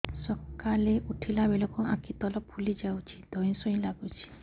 ସକାଳେ ଉଠିଲା ବେଳକୁ ଆଖି ତଳ ଫୁଲି ଯାଉଛି ଧଇଁ ସଇଁ ଲାଗୁଚି